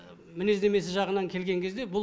мінездемесі жағынан келген кезде бұл